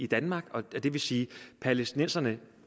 danmark og det vil sige at palæstinenserne ikke